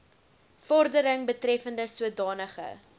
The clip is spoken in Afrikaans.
vordering betreffende sodanige